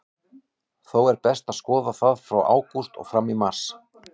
Þó er best að skoða það frá ágúst og fram í mars.